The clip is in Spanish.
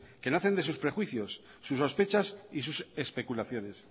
que nacen de sus prejuicios sus sospechas y sus especulaciones